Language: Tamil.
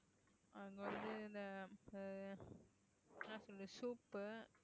அங்க வந்து இந்த வந்து soup உ